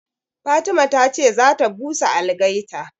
Fatima ta ce za ta busa algaita